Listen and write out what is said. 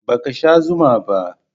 Ba ki sha zuma ba?